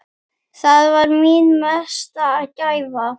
Það var mín mesta gæfa.